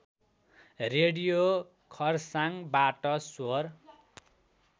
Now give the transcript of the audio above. radio खर्साङबाट स्वर